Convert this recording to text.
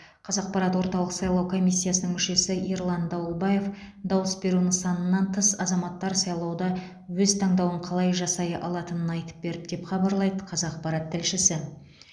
қазақпарат орталық сайлау комиссиясының мүшесі ерлан дауылбаев дауыс беру нысанынан тыс азаматтар сайлауда өз таңдауын қалай жасай алатынын айтып берді деп хабарлайды қазақпарат тілшісі